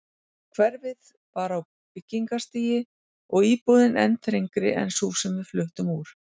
Hverfið var á byggingarstigi og íbúðin enn þrengri en sú sem við fluttum úr.